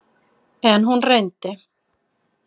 En hún reyndi.